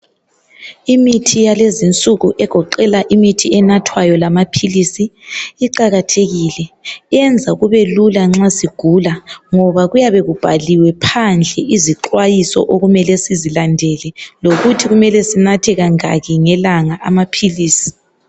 Imithi yalezinsuku egoqela imithi enathwayo lamaphilisi iqakathekile. Yenza kube lula nxa sigula ngoba kuyabe kubhaliwe phandle izixwayiso okumele sizilandele, lokuthi kumele sinathe kangaki ngelanga amaphilisi.